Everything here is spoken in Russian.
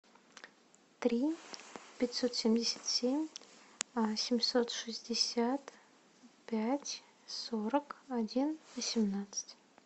три пятьсот семьдесят семь семьсот шестьдесят пять сорок один восемнадцать